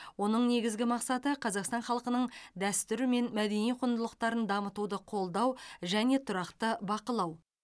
оның негізгі мақсаты қазақстан халқының дәстүрі мен мәдени құндылықтарын дамытуды қолдау және тұрақты бақылау